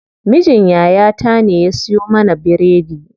Mijin yaya ta ne ya siyo mana biredi.